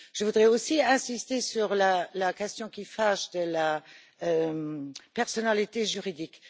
Je voudrais aussi insister sur la question qui fâche de la personnalité juridique.